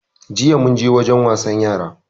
Jiya munje wajen wasan yara